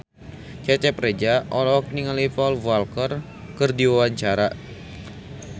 Cecep Reza olohok ningali Paul Walker keur diwawancara